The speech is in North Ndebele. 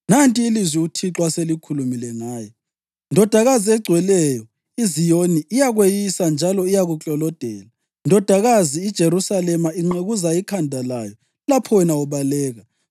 Nanti ilizwi uThixo aselikhulume ngaye: ‘Ndodakazi eGcweleyo iZiyoni iyakweyisa njalo iyakuklolodela. Ndodakazi iJerusalema inqekuza ikhanda layo lapho wena ubaleka.